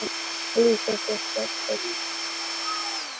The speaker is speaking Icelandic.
Líður þér betur?